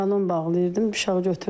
Balon bağlayırdım, uşaq götürdü.